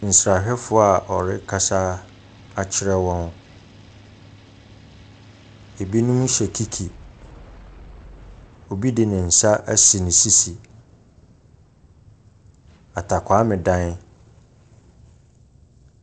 Nsrahwɛfoɔ a wɔrekasa akyerɛ wɔn. Binom hyɛ kiki. Obi de ne nsa asi ne sisi. Atakwaame dan.